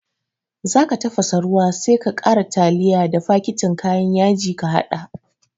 Zaka tafasa ruwa sai ka ƙara tiliya da faketin kayan yaji ka haɗa